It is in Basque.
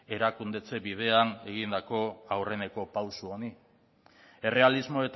erakundetze bidean egindako aurreneko pauso honi errealismo